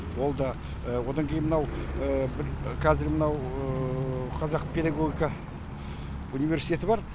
ол да одан кейін мынау қазір мынау қазақ педагогика университеті бар